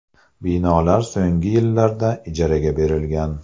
Binolar so‘nggi yillarda ijaraga berilgan.